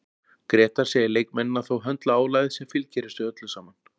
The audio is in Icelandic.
Grétar segir leikmennina þó höndla álagið sem fylgir þessu öllu saman.